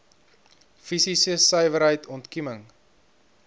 fisiese suiwerheid ontkieming